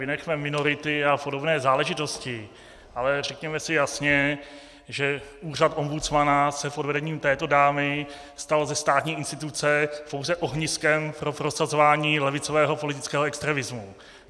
Vynechme minority a podobné záležitosti, ale řekněme si jasně, že úřad ombudsmana se pod vedením této dámy stal ze státní instituce pouze ohniskem pro prosazování levicového politického extremismu.